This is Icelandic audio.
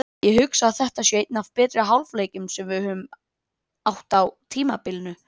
Ég hugsa að þetta sé einn af betri hálfleikjum sem við höfum átt á tímabilinu.